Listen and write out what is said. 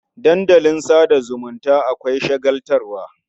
Dandalin sa da zumunta akwai shagaltarwa.